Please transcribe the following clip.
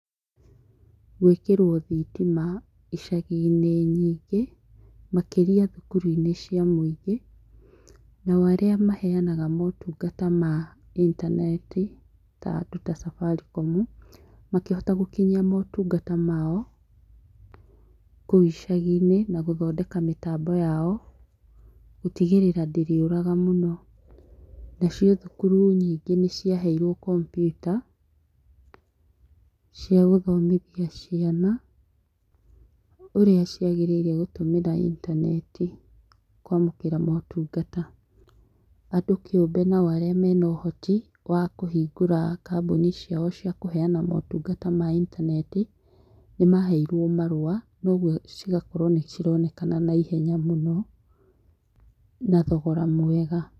Gwĩkĩrwo thitima icagi-inĩ nyingĩ makĩria thukuru-inĩ cia mũingĩ nao arĩa maheanaga motungata ma intaneti ta andũ ta Safaricom, makĩhota gũkinyia motungata mao kũu icagi-inĩ na gũthondeka mĩtambo yao gũtigĩrĩra ndĩrĩũraga mũno nacio thukuru nyingĩ nĩ ciaheirwo komputa cia gũthomithia ciana, ũrĩa cia gĩrĩire gũtũmĩra intaneti kwamũkĩra motungata. Andũ kĩũmbe nao arĩa mena ũhoti wa kũhingũra kambuni ciao cia kũheana motungata ma intaneti nĩmaheirwo marũa kwoguo cigakorwo nĩ cironekana na ihenya mũno na thogora mwega.